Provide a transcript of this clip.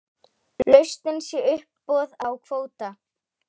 Lausnin sé uppboð á kvóta.